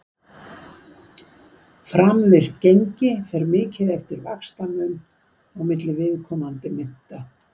framvirkt gengi fer mikið eftir vaxtamun á milli viðkomandi mynta